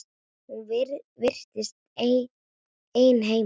Hún virtist ein heima.